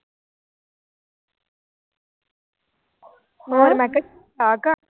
ਹੋਰ ਮੈਂ ਕਿਹਾ ਆ ਘਰ